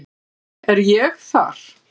Er ég þar?